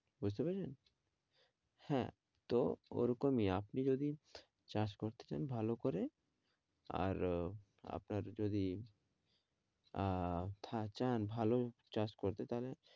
বুঝতে পেরেছেন? হ্যাঁ তো ওরকমই আপনি যদি চাষ করতে চান ভালো করে আর আপনার যদি আহ আপনার যদি চান ভালো চাষ করতে তাহলে,